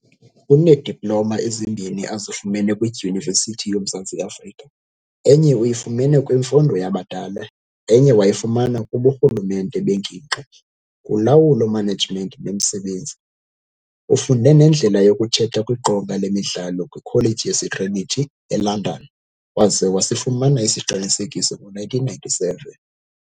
Uneediploma ezimbini azifumene kwiDyunivesithi yomMzantsi Afrika, enye uyifumene kwiMfundo yabadala, enye wayifumana kuburhulumente bengingqi, kulawulo management bemsebenzi. Ufunde nendlela yokuthetha kwiqonga lemidlalo kwikholeji yaseTrinity, eLondon, waza wasifumana isiqinisekiso ngo1997.